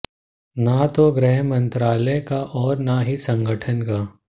न तो गृह मंत्रालय का और न ही संगठन का